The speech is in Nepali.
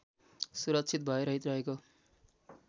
सुरक्षित भयरहित रहेको